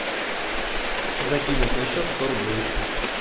закинуть на счет сто рублей